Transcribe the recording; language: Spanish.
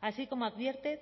así como advierte